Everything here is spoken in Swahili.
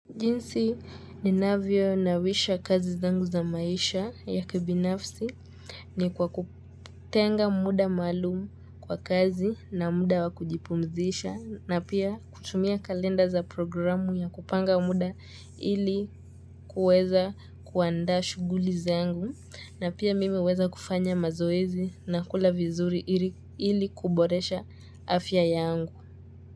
Jinsi ninavyo nawisha kazi zangu za maisha ya kibinafsi ni kwa kutenga muda maalumu kwa kazi na muda wakujipumzisha na pia kutumia kalenda za programu ya kupanga muda ili kuweza kuandaa shughuli zangu na pia mimi huweza kufanya mazoezi na kula vizuri ili kuboresha afya yangu.